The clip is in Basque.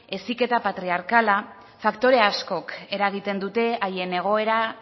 heziketa patriarkal faktore askok eragiten duten haien egoera